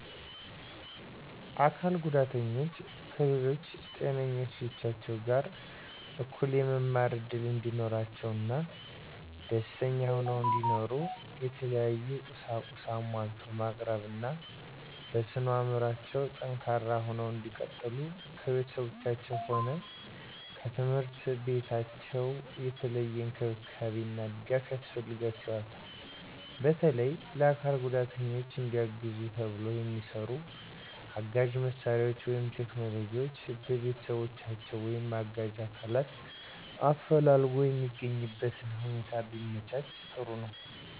አካል ጉዳተኞች ከሌሎች ጤነኞች ልጆች ጋር እኩል የመማር እድል እንዲኖራቸው እና ደስተኛ ሁነው እንዲኖሩ የተለያዩ ቁሳቁስ አሟልቶ ማቅረብ እና በስነ አዕምሮአቸው ጠንካራ ሁነው እንዲቀጥሉ ከቤተሰባቸውም ሆነ ከትምህርት ቤታቸው የተለየ እንክብካቤ እና ድጋፍ ያስፈልጋቸዋል። በተለየ ለአካል ጉዳተኞች እንዲያግዙ ተብለው የሚሰሩ አጋዥ መሳሪያዎች ወይም ቴክኖሎጅዎች በቤተሰቦቻቸው ወይም አጋዥ አካላትን አፈላልጎ የሚያገኙበትነ ሁኔታ ቢመቻች ጥሩ ነዉ።